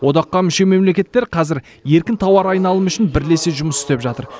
одаққа мүше мемлекеттер қазір еркін тауар айналымы үшін бірлесе жұмыс істеп жатыр